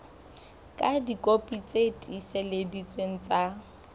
ka dikopi tse tiiseleditsweng tsa